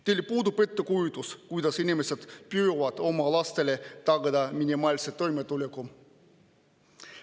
Teil puudub ettekujutus, kuidas inimesed püüavad oma lastele tagada minimaalset toimetulekut.